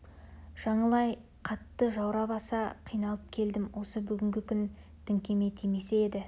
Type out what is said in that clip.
жаңыл-ай қатты жаурап аса қиналып келдім осы бүгінгі күн діңкеме тимесе еді